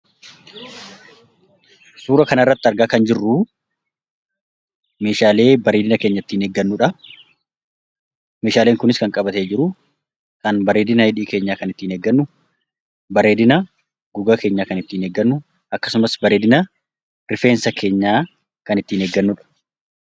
Suuraa kanarratti argaa kan jirru meeshaalee bareedina keenya ittiin eeggannudha. Meeshaaleen kunis kan qabatee jiru bareedina quba keenyaa kan ittiin eeggannu akkasumas bareedina rifeensa keenyaa kan ittiin eeggannudha.